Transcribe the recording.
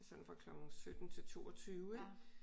Sådan fra klokken 17 til 22 ik